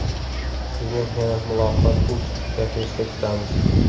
Sizni yana Muloqot.Uz kafesida kutamiz!